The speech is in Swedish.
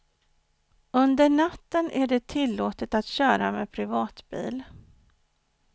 Under natten är det tillåtet att köra med privatbil.